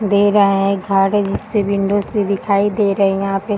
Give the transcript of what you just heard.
दे रहा है घर है जिसपे विंडोज भी दिखाई दे रही है यहाँ पे --